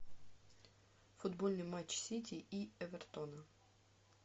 футбольный матч сити и эвертона